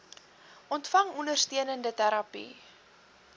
ontvang ondersteunende terapie